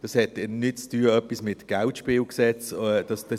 Es hat nichts mit dem Kantonalen Geldspielgesetz (KGSG) zu tun.